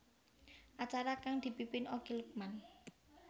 Acara kang dipimpin Okky Lukman